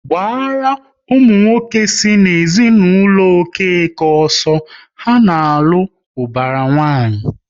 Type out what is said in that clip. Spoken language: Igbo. Gbaru ụmụ nwoke si n'ezinụlọ Okeke ọsọ, ha na-alụ ubara nwanyi!